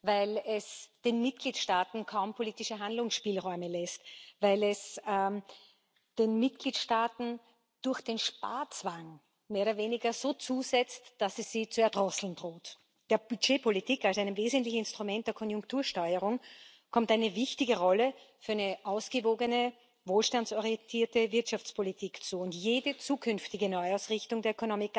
Weil es den Mitgliedstaaten kaum politische Handlungsspielräume lässt, weil es den Mitgliedstaaten durch den Sparzwang mehr oder weniger so zusetzt, dass es sie zu erdrosseln droht. Der Budgetpolitik als einem wesentlichen Instrument der Konjunktursteuerung kommt eine wichtige Rolle für eine ausgewogene, wohlstandsorientierte Wirtschaftspolitik zu, und jede zukünftige Neuausrichtung der